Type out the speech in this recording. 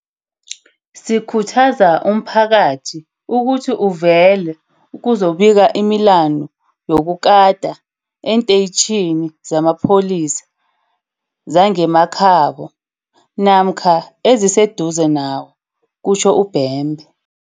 Sikhuthaza umphakathi ukuthi uvele uzokubika imilandu yokukata eenteyitjhini zamapholisa zangemakhabo, namkha eziseduze nawo, kutjho uBhembe.